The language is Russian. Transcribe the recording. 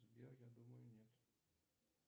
сбер я думаю нет